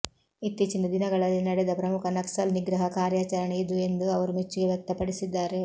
ಇತ್ತೀಚಿನ ದಿನಗಳಲ್ಲಿ ನಡೆದ ಪ್ರಮುಖ ನಕ್ಸಲ್ ನಿಗ್ರಹ ಕಾರ್ಯಾಚರಣೆ ಇದು ಎಂದು ಅವರು ಮೆಚ್ಚುಗೆ ವ್ಯಕ್ತಪಡಿಸಿದ್ದಾರೆ